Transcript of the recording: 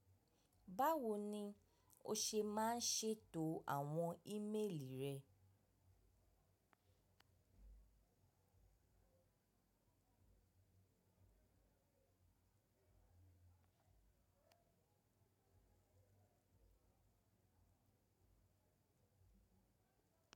Báwo ni o ṣe máa ń ṣètò àwọn ímeèlì rẹ?